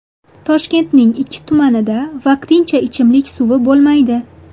Toshkentning ikki tumanida vaqtincha ichimlik suvi bo‘lmaydi.